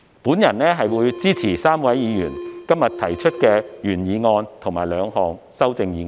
我支持該3位議員今天提出的原議案和兩項修正案。